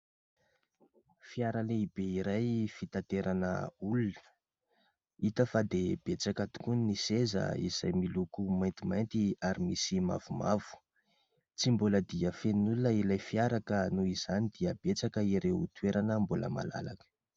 Fiara lehibe iray fitaterana olona. Hita fa dia betsaka tokoa ny seza izay miloko maintimainty ary misy mavomavo. Tsy mbola dia feno olona ilay fiara ka noho izany dia betsaka ireo toerana mbola malalaka.